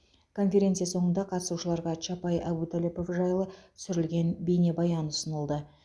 конференция соңында қатысушыларға чапай әбутәліпов жайлы түсірілген бейнебаян ұсынылды